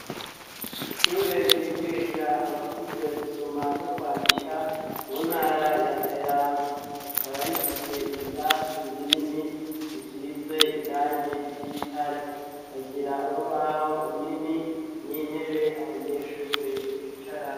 Ishure, ryigisha abakuze, gusoma n'ukwandika, mu ntara ya Kayanza; rikaba rifise ibirasi binini, bisize irangi ry'igitare; ikagira urubaho runini, n'intebe, abanyeshure bicaramwo.